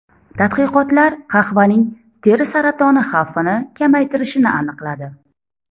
Tadqiqotlar qahvaning teri saratoni xavfini kamaytirishini aniqladi.